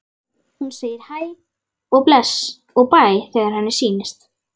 Hún segir hæ og bless og bæ þegar henni sýnist!